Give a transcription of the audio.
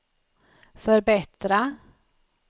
förbättra